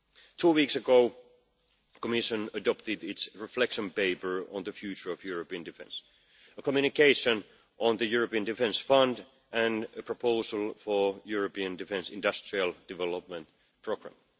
Two weeks ago, the Commission adopted its reflection paper on the future of European defence, a communication on the European Defence Fund and a proposal for a European defence industrial development programme.